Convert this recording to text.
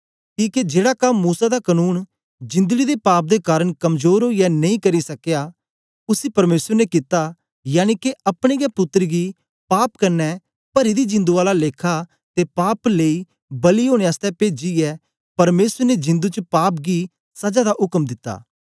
किके जेड़ा कम मूसा दा कनून जिंदड़ी दे पाप दे कारन कमजोर ओईयै नेई करी सकया उसी परमेसर ने कित्ता यनिके अपने गै पुत्तर गी पाप क्न्ने परी दी जिंदु आला लेखा ते पाप लेई बलि ओनें आसतै पेजीयै परमेसर ने जिंदु च पाप गी सजा दा उक्म दित्ता